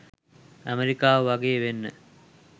ඇමෙරිකාව වගේ වෙන්න.